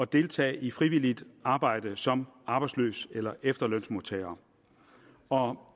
deltage i frivilligt arbejde som arbejdsløs eller efterlønsmodtager og